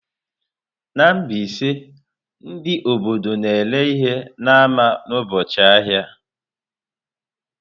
Na Mbaise, ndị obodo na-ere ihe n'ámá n'ụbọchị ahịa.